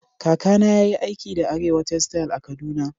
Kaka na yayi aiki da Arewa textile a'Kaduna.